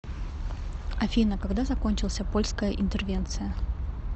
афина когда закончился польская интервенция